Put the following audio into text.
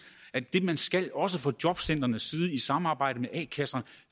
at det man skal også fra jobcentrenes side i samarbejde med a kasserne